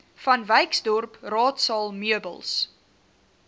vanwyksdorp raadsaal meubels